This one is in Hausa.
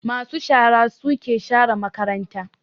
Ma su shara suke share makaranta